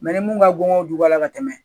ni mun ka bon jukɔrɔla ka tɛmɛ